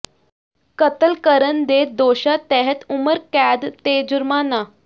ਕਤਲ ਕਰਨ ਦੇ ਦੋਸ਼ਾਂ ਤਹਿਤ ਉਮਰ ਕੈਦ ਤੇ ਜੁਰਮਾਨਾ